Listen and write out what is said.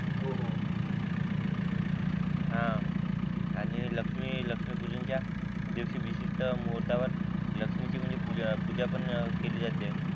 हा आणि लक्ष्मी लक्ष्मी पूजनाचा दिवशी विशिष्ट मुहूर्तावर लक्ष्मीची म्हणजे पूजा पूजा पण केली जाणार आहे ना